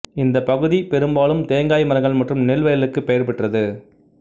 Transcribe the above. இந்த பகுதி பெரும்பாலும் தேங்காய் மரங்கள் மற்றும் நெல் வயல்களுக்கு பெயர் பெற்றது